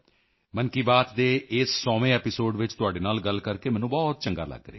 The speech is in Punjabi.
ਮਨ ਕੀ ਬਾਤ ਦੇ ਇਸ 100ਵੇਂ ਐਪੀਸੋਡ ਵਿੱਚ ਤੁਹਾਡੇ ਨਾਲ ਗੱਲ ਕਰਕੇ ਮੈਨੂੰ ਬਹੁਤ ਚੰਗਾ ਲੱਗ ਰਿਹਾ ਹੈ